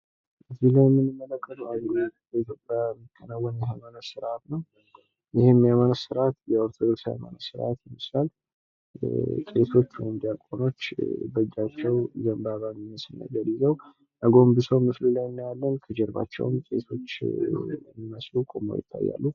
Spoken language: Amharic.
እዚህ ላይ የምንመለከተው አንዱ በኢትዮጵያ የሚከናወን የሀይማኖት ስርዓት ነው። ይህም የሀይማኖት ስርዓት የኦርቶዶክስ የሀይማኖት ስርዓት ይመስላል። ቄሶች ወይም ዲያቆኖች በእጃቸው ዘንባባ የሚመስል ነገር ይዘው አጎንብሰው ምስሉ ላይ እናያለን። ከጀርባቸውም ቄሶች የሚመስሉ ቆመው ይታያሉ ።